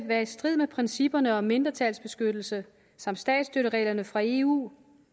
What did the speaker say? være i strid med principperne om mindretalsbeskyttelse samt statsstøttereglerne fra eu